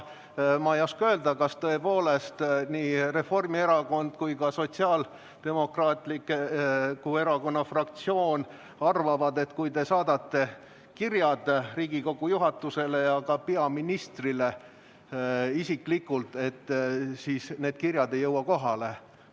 Ma ei oska öelda, kas tõepoolest nii Reformierakonna fraktsioon kui ka Sotsiaaldemokraatliku Erakonna fraktsioon arvavad, et kui te saadate kirjad Riigikogu juhatusele ja ka peaministrile isiklikult, siis need kirjad ei jõua kohale.